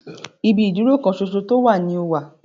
Ibi ìdúró kan ṣoṣo tó wà ní o wà.